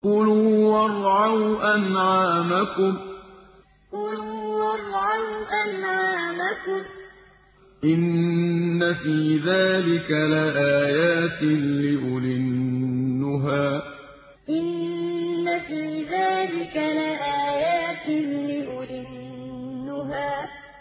كُلُوا وَارْعَوْا أَنْعَامَكُمْ ۗ إِنَّ فِي ذَٰلِكَ لَآيَاتٍ لِّأُولِي النُّهَىٰ كُلُوا وَارْعَوْا أَنْعَامَكُمْ ۗ إِنَّ فِي ذَٰلِكَ لَآيَاتٍ لِّأُولِي النُّهَىٰ